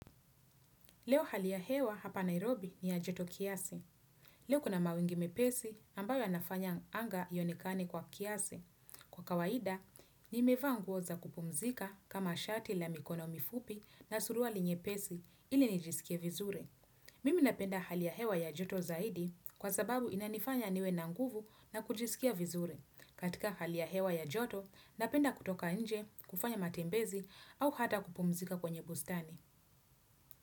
Leo hali ya hewa hapa Nairobi ni ya Joto Kiasi. Leo kuna mawingi mepesi ambayo yanafanya anga ionekane kwa kiasi. Kwa kawaida, ni mevaa nguo za kupumzika kama shati la mikono mifupi na suruali nye pesi ili nijiskie vizuri. Mimi napenda hali ya hewa ya joto zaidi kwa sababu inanifanya niwe nanguvu na kujisikia vizuri. Katika hali ya hewa ya joto, napenda kutoka nje, kufanya matembezi au hata kupumzika kwenye bustani.